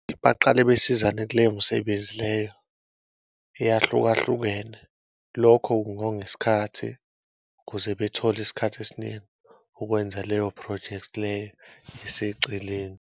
Baqale besizane kuleyo msebenzi leyo eyahlukahlukene lokho kungonga isikhathi kuze bethole isikhathi esiningi ukwenza leyo phrojekthi leyo eseceleni.